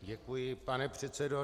Děkuji, pane předsedo.